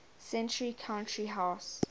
century country house